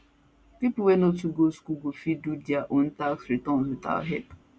pipo wey no too go school go fit do dia own tax returns without help